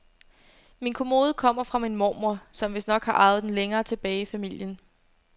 Min kommode kommer fra min mormor, som vistnok har arvet den længere tilbage i familien.